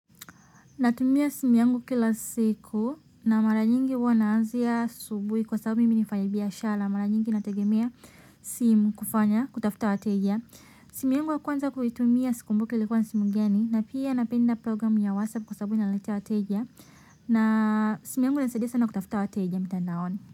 Natumia simu yangu kila siku na mara nyingi huwa naazia asubuhi kwa sababu mimi ni mfanyibiashara mara nyingi nategemea simu kufanya kutafuta wateja. Simu yangu ya kwanza kuitumia sikumbuki likuwa ni simu gani na pia napenda program ya WhatsApp kwa sababu inaniletea wateja na simu yangu inanisadia sana kutafuta wateja mitandaoni.